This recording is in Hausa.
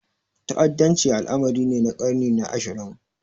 Ta'addanci al'amari ne na ƙarni na ashirin.